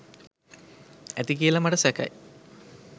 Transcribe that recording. ඇති කියල මට සැකයි.